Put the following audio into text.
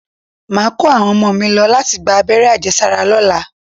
Màá kó àwọn ọmọ mi lọ láti gba abẹ́rẹ́ àjẹsára lọ́la